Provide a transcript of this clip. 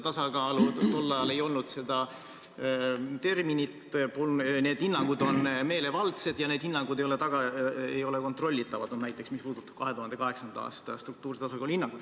Tol ajal ei olnud seda terminit, need hinnangud on meelevaldsed ja need hinnangud ei ole kontrollitavad, näiteks mis puudutab 2008. aasta struktuurse tasakaalu hinnangut.